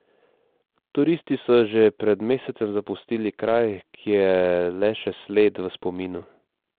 Turisti so že pred mesecem zapustili kraj, ki je le še sled v spominu.